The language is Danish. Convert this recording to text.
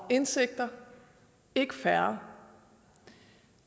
og indsigter ikke færre